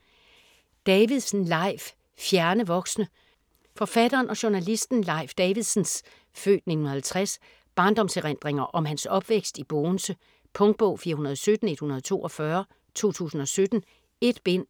Davidsen, Leif: Fjerne voksne Forfatteren og journalisten Leif Davidsens (f. 1950) barndomserindringer om hans opvækst i Bogense. Punktbog 417142 2017. 1 bind.